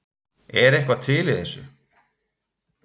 Er eitthvað til í þessu